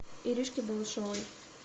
иришки балашовой